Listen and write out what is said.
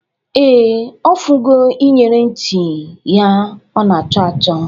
Ee, ọ fụgo iyere ntị ya ọ na-achọ achọ